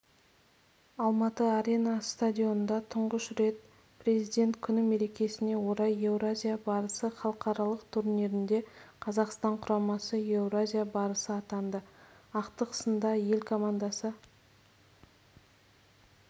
алматы арена стадионында тұңғыш президент күні мерекесіне орай еуразия барысы халықаралық турнирінде қазақстан құрамасы еуразия барысы атанды ақтық сында ел командасы